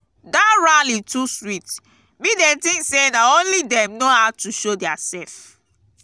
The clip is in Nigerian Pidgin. dat rally too sweet me dey think say na only dem no how to show their self.